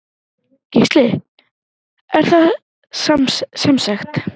Gísli: Er það semsagt.